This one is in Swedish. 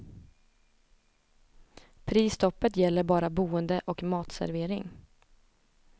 Prisstoppet gäller bara boende och matservering.